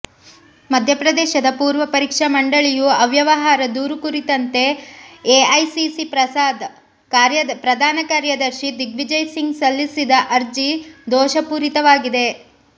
ಮಧ್ಯಪ್ರದೇಶ ಪೂರ್ವ ಪರೀಕ್ಷಾ ಮಂಡಳಿಯ ಅವ್ಯವಹಾರ ದೂರು ಕುರಿತಂತೆ ಎಐಸಿಸಿ ಪ್ರದಾನ ಕಾರ್ಯದರ್ಶಿ ದಿಗ್ವಿಜಯ್ ಸಿಂಗ್ ಸಲ್ಲಿಸಿದ ಅರ್ಜಿ ದೋಷಪೂರಿತವಾಗಿದೆ